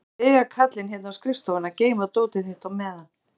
Við skulum biðja kallinn hérna á skrifstofunni að geyma dótið þitt á meðan.